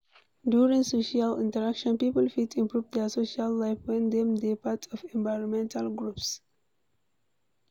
During social interaction, people fit improve their social life when dem dey part of environmental groups